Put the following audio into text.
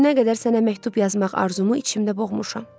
Bu günə qədər sənə məktub yazmaq arzumu içimdə boğmuşam.